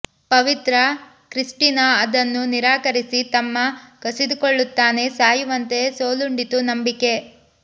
ಪವಿತ್ರ Christina ಅದನ್ನು ನಿರಾಕರಿಸಿ ತಮ್ಮ ಕಸಿದುಕೊಳ್ಳುತ್ತಾನೆ ಸಾಯುವಂತೆ ಸೋಲುಂಡಿತು ನಂಬಿಕೆ